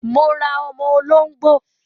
Mo ra ọmọ olóngbò